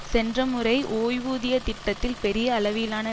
சென்ற முறை ஓய்வூதிய திட்டத்தில் பெரிய அளவிலான